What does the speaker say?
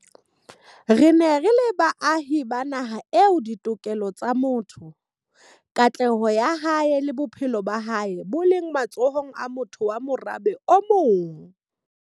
Re ne re le baahi ba naha eo ditokelo tsa motho, katleho ya hae le bophelo ba hae bo leng matsohong a motho wa morabe o mong.